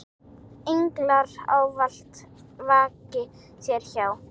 Englar ávallt vaki þér hjá.